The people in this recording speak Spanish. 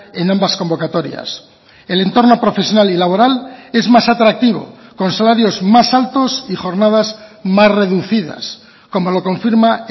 en ambas convocatorias el entorno profesional y laboral es más atractivo con salarios más altos y jornadas más reducidas como lo confirma